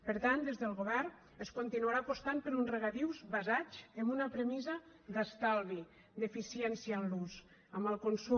per tant des del govern es continuarà apostant per uns regadius basats en una premissa d’estalvi d’eficiència en l’ús en el consum